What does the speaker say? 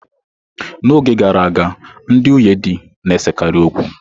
N'oge gara aga, ndị nwunye di na-esekarị okwu.